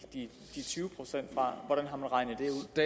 tyve procent fra hvordan har man regnet